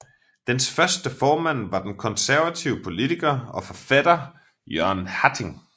Dens første formand var den konservative poliitker og forfatter Jørgen Hatting